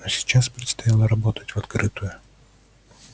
но сейчас предстояло работать в открытую